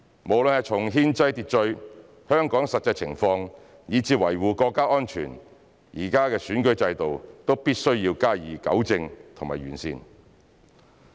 無論是從憲制秩序、香港實際情況，以至維護國家安全來看，現時的選舉制度都必須加以糾正和完善。